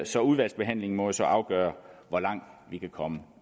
så udvalgsbehandlingen må jo så afgøre hvor langt vi kan komme